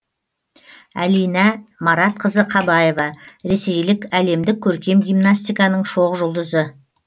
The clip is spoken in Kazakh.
әлинә маратқызы қабаева ресейлік әлемдік көркем гимнастиканың шоқ жұлдызы